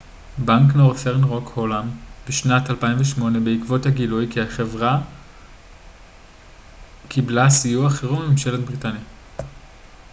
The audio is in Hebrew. בנק נורת'ן רוק הולאם בשנת 2008 בעקבות הגילוי כי החברה קיבלה סיוע חירום מממשלת בריטניה